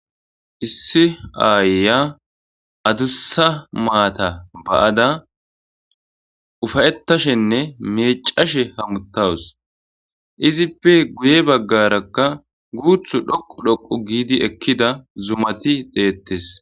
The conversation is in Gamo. issi aayya adussa maata ba'ada ufayetashenne miicashe hamutawus izippe guye baggarakka guuthu dhoqu dhoqu giidi ekkida zumati deettes